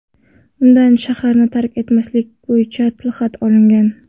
Undan shaharni tark etmaslik bo‘yicha tilxat olingan.